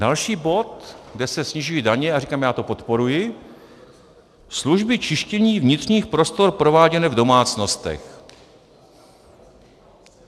Další bod, kde se snižují daně - a říkám, já to podporuji: služby čištění vnitřních prostor prováděné v domácnostech.